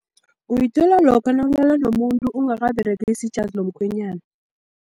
Uyithola lokha nawulala nomuntu ungakaberegisi ijazi lomkhwenyana.